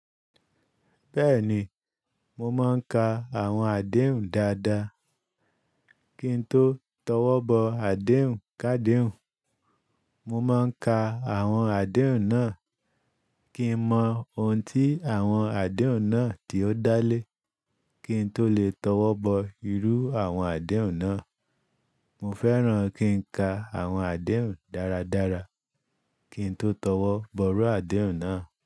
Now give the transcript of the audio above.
Bẹ́ẹ̀ni, mo máa ń ka àwọn àdéhùn dáadáa kí n tó tọwọ́ bọ àdéhùn kádehun. Mo máa ń ka àwọn àdéhùn náà kí n mọ ohun tí àwọn àdéhùn náà tí ó dá lé, kí n tó lè tọwọ́ bọ irú àwọn àdéhùn náà. Mo fẹ́ràn kí n ka àwọn àdéhùn dáradára kí n tó tọwọ́ bọ rú àdéhùn náà.